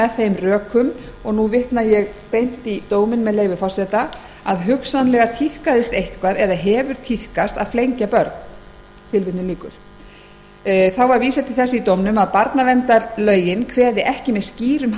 með þeim rökum og nú vitna ég beint í dóminn með leyfi forseta að hugsanlega tíðkast eitthvað eða hefur tíðkast að flengja börn þá var vísað til þess í dómnum að barnaverndarlögin kveði ekki með skýrum